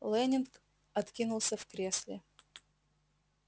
лэннинг откинулся в кресле